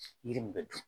Yiri min bɛ dun